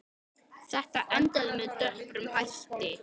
Þetta endaði með döprum hætti.